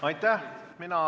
Aitäh!